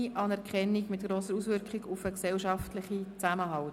«Kleine Anerkennung mit grosser Auswirkung auf den gesellschaftlichen Zusammenhalt».